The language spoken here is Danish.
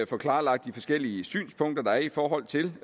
få klarlagt de forskellige synspunkter der er i forhold til